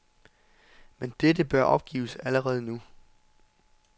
Men dette bør opgives allerede nu.